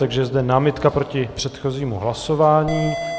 Takže je zde námitka proti předchozímu hlasování.